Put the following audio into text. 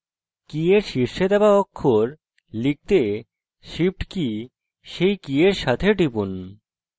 key এর শীর্ষে দেওয়া অক্ষর লিখতে shift key key key এর সাথে টিপুন